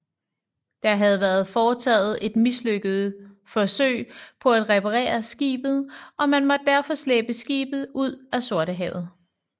Der havde været foretaget et mislykket forsøg på at reparere skibet og man måtte derfor slæbe skibet ud af Sortehavet